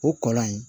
O kɔlɔn in